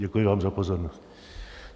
Děkuji vám za pozornost.